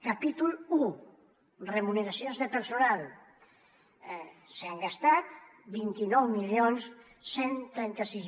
capítol un remuneracions de personal s’han gastat vint nou mil cent i trenta sis